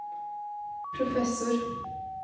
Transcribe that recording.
professor